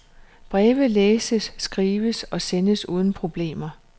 Breve læses, skrives og sendes uden problemer.